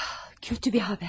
Kötü bir xəbər.